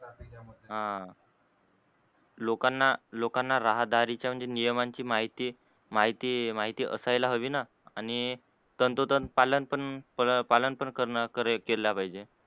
ह लोकांना लोकांना राह्दारीचे चे म्हणजे नियमांचे माहिती माहिती माहिती असायला हवी आणि तंतोतंत पालन पण पालन पण कर केल्या पाहिजे.